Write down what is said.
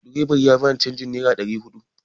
Direban ya ba ni canjin nera ɗari huɗu